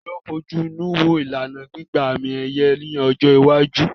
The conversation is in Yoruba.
Ta ló ń fojú inú wo ìlànà gbígba àmì-ẹ̀yẹ ní ọjọ́ iwájú?